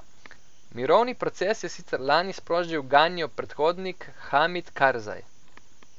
Mirovni proces je sicer lani sprožil Ganijev predhodnik Hamid Karzaj.